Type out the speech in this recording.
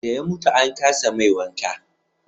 da ya mutu an kasa mai wanka